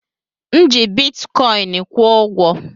M ji bitikọin kwụ ụgwọ.